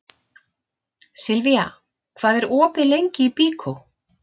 Silvía, hvað er opið lengi í Byko?